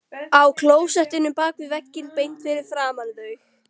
Á klósettinu bak við vegginn beint fyrir framan þau!